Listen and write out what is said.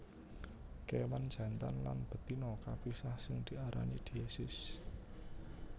Kéwan jantan lan betina kapisah sing diarani diesis